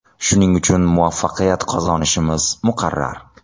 Shuning uchun muvaffaqiyat qozonishimiz muqarrar.